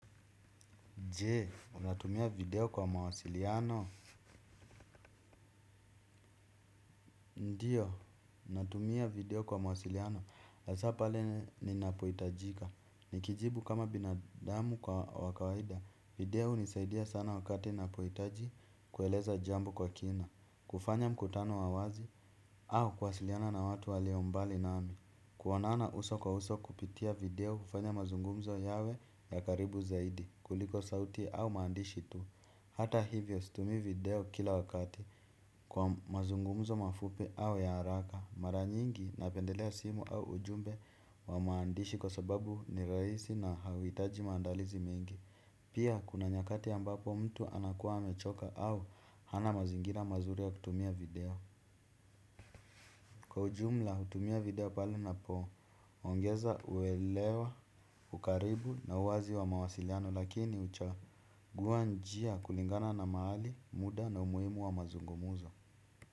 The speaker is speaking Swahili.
Je, unatumia video kwa mawasiliano. Ndiyo, natumia video kwa mawasiliano. La za pale liinapohitajika. Nikijibu kama binadamu kwa wa kawaida. Video hunisaidia sana wakati napohitaji kueleza jambo kwa kina. Kufanya mkutano wa wazi au kuwasiliana na watu walio mbali nami. Kuonana uso kwa uso kupitia video hufanya mazungumzo yawe ya karibu zaidi. Kuliko sauti au maandishi tu. Hata hivyo situmii video kila wakati kwa mazungumzo mafupi au ya haraka mara nyingi napendelea simu au ujumbe wa maandishi kwa sababu ni rahisi na hauhitaji maandalizi mengi. Pia kuna nyakati ambapo mtu anakuwa amechoka au hana mazingira mazuri ya kutumia video. Kwa ujumla hutumia video pala napo, ongeza uwelewa, ukaribu na uwazi wa mawasiliano lakini uchawa. Guwa njia kulingana na mahali, muda na umuhimu wa mazungumzo.